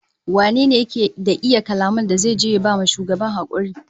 Wane ne yake da iya kalaman da zai je ya ba shugaban hakuri?